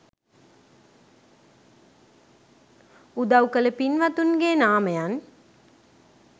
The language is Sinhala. උදව් කළ පින්වතුන්ගේ නාමයන්